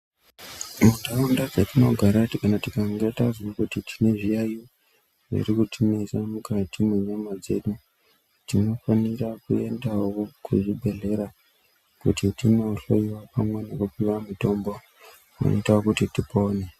Mundaraunda dzatinogara kana tikange tazwa kuti tine zviyayiyo zviri kuti nesa mukati me nyama dzedu tinofanirawo kuendawo ku zvi bhedhlera kuti tino hloyiwa pamwe neku puwa mutombo unoita kuti tipone.